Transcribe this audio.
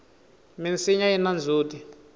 minsinya yina ndzhuti